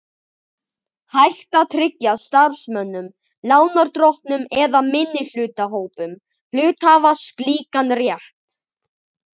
hægt að tryggja starfsmönnum, lánardrottnum eða minnihlutahópum hluthafa slíkan rétt.